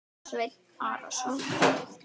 Sveinn Arason.